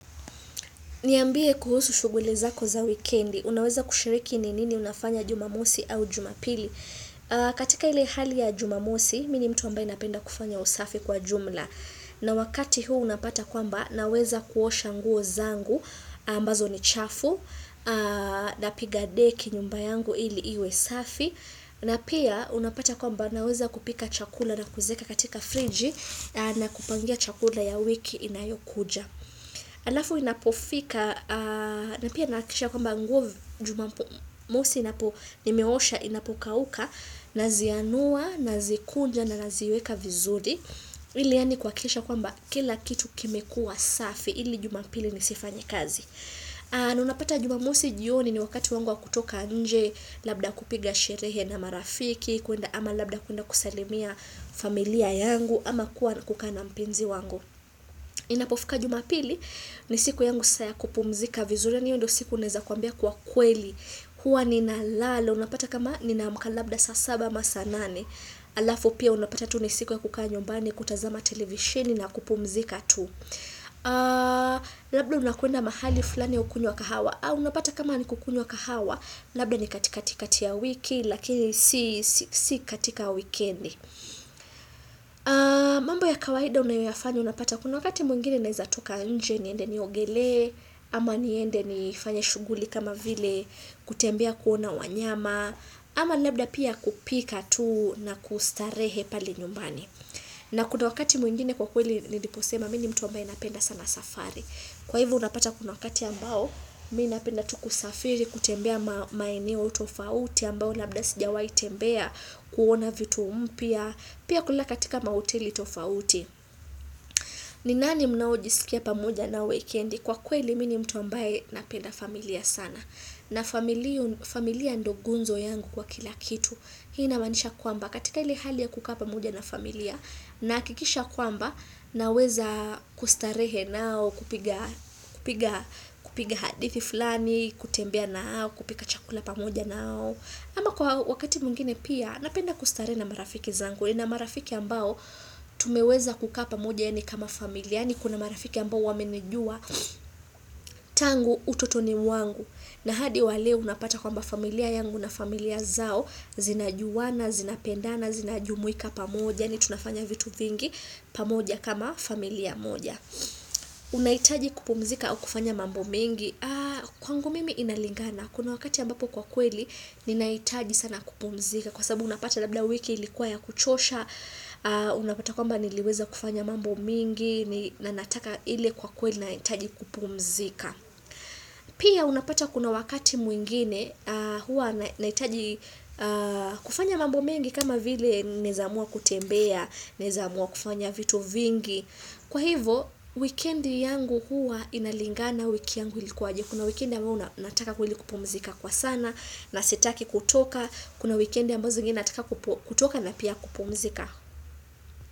Niambie kuhusu shuguli zako za weekendi. Unaweza kushiriki ni nini unafanya jumamosi au jumapili. Katika ile hali ya jumamosi, mini mtu ambaye napenda kufanya usafi kwa jumla. Na wakati huu unapata kwamba, naweza kuosha nguo zangu, ambazo ni chafu, napiga deki nyumba yangu ili iwe safi. Na pia, unapata kwamba, naweza kupika chakula na kuzieka katika friji na kupangia chakula ya wiki inayo kuja. Alafu inapofika na pia nakisha kwamba nguo jumamosi inapo nimeosha inapokauka na zianua na zikunja na naziweka vizuri ili ani kwa kisha kwamba kila kitu kimekua safi ili juma pili nisifanyekazi. Naunapata jumamosi jioni ni wakati wangu wa kutoka nje labda kupiga sherehe na marafiki ama labda kuenda kusalimia familia yangu ama kuwa kukana mpenzi wangu. Inapofika jumapili ni siku yangu saa kupumzika vizuri hiyondo siku uneza kuambia kwa kweli hua nina lala unapata kama nina amka labda sa saba ama saa nane alafu pia unapata tu ni siku ya kukaa nyumbani kutazama televishini na kupumzika tu labda unakuenda mahali fulani ukunywe kahawa unapata kama ni kukunyo kahawa labda ni katika tika tia wiki lakini si katika wikendi mambo ya kawaida unayofanya unapata Kuna wakati mwingine naizatoka nje niende niogele ama niende ni fanye shuguli kama vile kutembea kuona wanyama ama labda pia kupika tuu na kustarehe pale nyumbani na kuna wakati mwingine kwa kweli liposema smini mtu ambaye napenda sana safari Kwa hivo unapata kuna wakati ambao Mi napenda tu kusafiri kutembea maineo utofauti ambayo labda sijawai tembea kuona vitu mpia Pia kulala katika maoteli tofauti ni nani mnao jisikia pamoja nao weekendi kwa kweli mini mtu ambaye napenda familia sana. Na familia ndo gunzo yangu kwa kila kitu. Hii inamanisha kwamba katika ili hali ya kuka pamoja na familia na kikisha kwamba naweza kustarehe nao kupiga hadithi fulani, kutembea nao, kupika chakula pamoja nao. Ama kwa wakati mwngine pia, napenda kustarehe na marafiki zangu, ni na marafiki ambao tumeweza kuka pamoja ya ni kama familia, ni kuna marafiki ambao wamenijua tangu utotoni wangu. Na hadi waleo unapata kwamba familia yangu na familia zao, zinajuana, zinapendana, zinajumuika pamoja, ni tunafanya vitu vingi pamoja kama familia moja. Unaitaji kupumzika au kufanya mambo mingi Kwangu mimi inalingana Kuna wakati ambapo kwa kweli Ninaitaji sana kupumzika Kwasababu unapata labda wiki ilikuwa ya kuchosha Unapata kwamba niliweza kufanya mambo mingi Nanataka ile kwa kweli na itaji kupumzika Pia unapata kuna wakati mwingine hua naitaji kufanya mambo mingi kama vile nezamua kutembea Nezamua kufanya vitu vingi Kwa hivo, wikendi yangu huwa inalingana wiki yangu ilikuwa aje. Kuna wikendi ambayo nataka kweli kupumzika kwa sana na sitaki kutoka. Kuna wikendi ambazo zingine nataka kutoka na pia kupumzika.